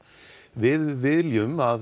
við viljum að